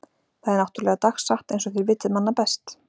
Það er náttúrlega dagsatt einsog þér vitið manna best.